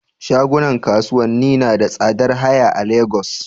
Shagunan kasuwanni nada tsadar haya a Lagos